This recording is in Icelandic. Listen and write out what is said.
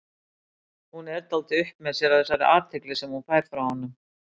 Hún er dálítið upp með sér af þessari athygli sem hún fær frá honum.